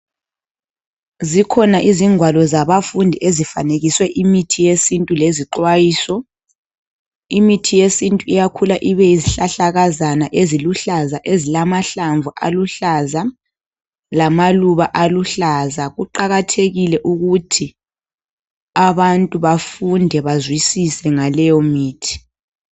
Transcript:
Zikhona izingwalo zabafundi ezifanekiswe imithi yesintu lezixwayiso , imithi yesintu iyakhula ibe yizihlahlakazana eziluhlaza ezilamahlamvu aluhlaza lamaluba aluhlaza , kuqakathekile ukuthi abantu bafunde bazwisise ngaleyo mithi